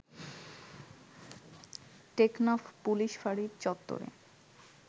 Teknaf police ফাঁড়ির চত্বরে